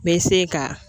N bɛ se ka